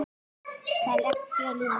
Það leggst vel í mig.